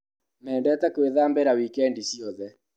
Mendete gwĩthambĩra wikendi ciothe.